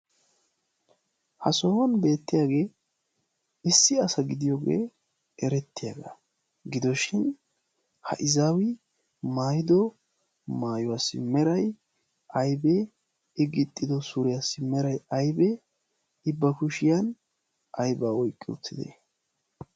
Ha sohuwan beetiyaagee issi asa gidiyooge eretiyaaba gidoshin ha izaawi maayido maayuwaassi meray aybee? i gixxido suriyaassi meray aybee? i ba kushiyan aybaa oyqqidee?